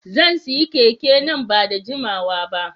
Zan sayi keke nan ba da jimawa ba.